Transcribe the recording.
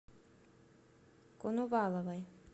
коноваловой